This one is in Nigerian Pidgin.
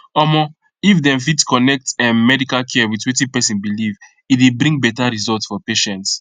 omo if dem fit connect ehm medical care with wetin person believe e dey bring better result for patients